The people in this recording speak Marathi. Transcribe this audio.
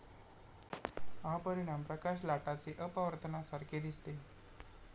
हा परिणाम प्रकाश लाटाचे अपवर्तनासारखे दिसते.